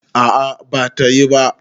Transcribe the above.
a a bata yi ba